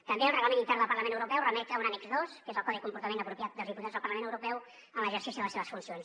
també el reglament intern del parlament europeu remet a un annex dos que és el codi de comportament apropiat dels diputats al parlament europeu en l’exercici de les seves funcions